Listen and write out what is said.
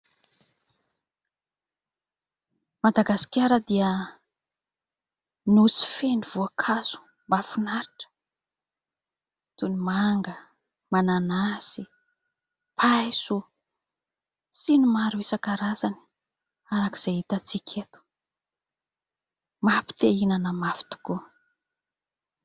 I Madagasikara dia nosy feno voankazo mahafinaritra toy ny manga, mananasy, paiso sy ny maro isan-karazany arak'izay hitan-tsika eto mampite-ihinana mafy tokoa.